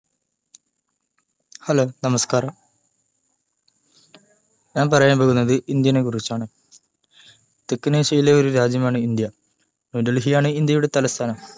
hello നമസ്‌കാരം ഞാൻ പറയാൻ പോകുന്നത് ഇന്ത്യനെ കുറിച്ചാണ് തെക്കനേഷ്യയിലെ ഒരു രാജ്യമാണ് ഇന്ത്യ ന്യൂ ഡൽഹിയാണ് ഇന്ത്യയുടെ തലസ്ഥാനം